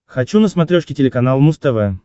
хочу на смотрешке телеканал муз тв